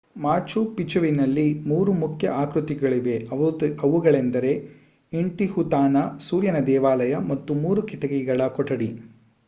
ಮಾಚು ಪಿಚುವಿನಲ್ಲಿ ಮೂರು ಮುಖ್ಯ ಆಕೃತಿಗಳಿವೆ ಅವುಗಳೆಂದರೆ ಇಂಟಿಹುತಾನಾ ಸೂರ್ಯನ ದೇವಾಲಯ ಮತ್ತು ಮೂರು ಕಿಟಕಿಗಳ ಕೊಠಡಿ